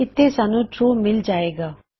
ਇਥੇ ਸਾਨੂੰ ਟਰੂ ਮਿਲ ਜਾਏ ਗਾ